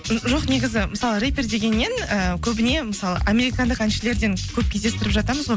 м жоқ негізі мысалы рэппер дегеннен ы көбіне мысалы американдық әншілерден көп кездестіріп жатамыз ғой